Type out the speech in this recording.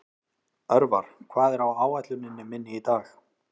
Örvar, hvað er á áætluninni minni í dag?